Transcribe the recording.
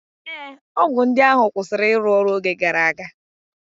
Ee, ọgwụ ndị ahụ kwụsịrị ịrụ ọrụ oge gara aga